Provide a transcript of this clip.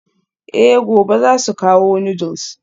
Eh gobe zasu kawo noodles.